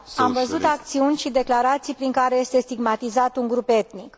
Am văzut acțiuni și declarații prin care este stigmatizat un grup etnic.